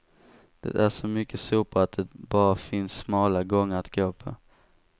Det är så mycket sopor att det bara finns smala gångar att gå på.